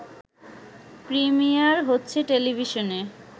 premier হচ্ছে টেলিভিশনে